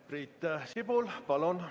Priit Sibul, palun!